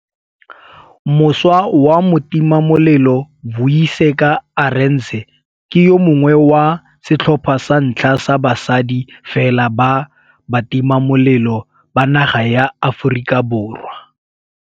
Mošwa wa motimamelelo Vuyiseka Arendse ke yo mongwe wa setlhopha sa ntlha sa basadi fela ba batimamelelo ba naga ya Aforika Borwa.